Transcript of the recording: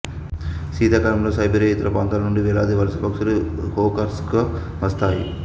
శీతాకాలంలో సైబీరియా ఇతర ప్రాంతాల నుండి వేలాది వలస పక్షులు హోకర్సర్కు వస్తాయి